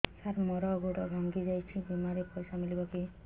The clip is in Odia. ସାର ମର ଗୋଡ ଭଙ୍ଗି ଯାଇ ଛି ବିମାରେ ପଇସା ମିଳିବ କି